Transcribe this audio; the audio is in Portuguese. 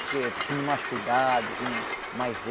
Porque tinha mais cuidado, tinha mais